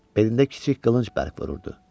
Belində kiçik qılınc bərk vururdu.